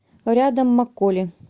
рядом макколи